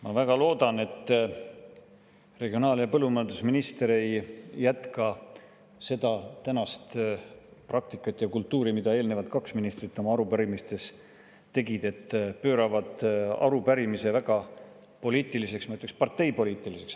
Ma väga loodan, et regionaal‑ ja põllumajandusminister ei jätka seda tänast praktikat ja kultuuri nagu eelnevad kaks ministrit oma arupärimistes, et pööravad arupärimise väga poliitiliseks, ma ütleksin, parteipoliitiliseks.